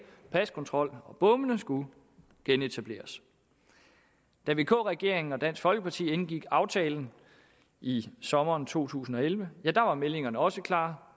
paskontrol og bommene skulle genetableres og da vk regeringen og dansk folkeparti indgik aftalen i sommeren to tusind og elleve ja da var meldingerne også klare